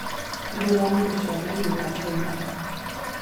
Nĩndĩronire ciana igĩthaka ira